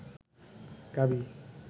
গাভী